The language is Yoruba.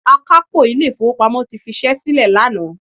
Akápò ilé ìfowópamọ́ ti fi ṣẹ́ sílè lánàá.